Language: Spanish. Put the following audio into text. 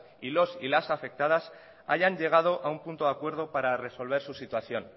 y los y las afectadas hayan llegado a un punto de acuerdo para resolver su situación